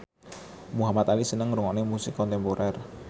Muhamad Ali seneng ngrungokne musik kontemporer